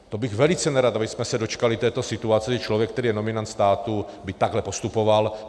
To bych velice nerad, abychom se dočkali této situace, kdy člověk, který je nominant státu, by takhle postupoval.